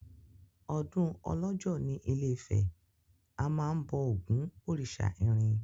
Ọdún ọlọ́jọ́ ní ilé-ifẹ̀, a máa ń bọ Ògún òrìsà irin.